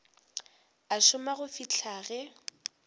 a šoma go fihla ge